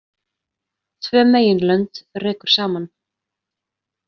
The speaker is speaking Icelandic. Tvö meginlönd rekur saman.